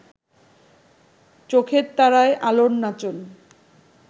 চোখের তারায় আলোর নাচন